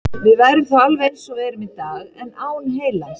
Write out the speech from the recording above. Við værum þá alveg eins og við erum í dag, en án heilans.